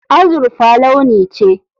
Azurfa launi ce.